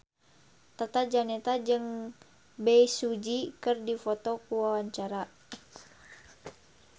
Tata Janeta jeung Bae Su Ji keur dipoto ku wartawan